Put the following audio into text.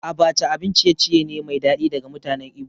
Abacha abin ciye-ciye ne mai daɗi daga mutanen Igbo